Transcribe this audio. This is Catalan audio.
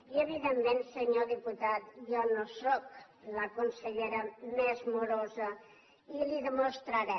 i evidentment senyor diputat jo no sóc la consellera més morosa i li ho demostraré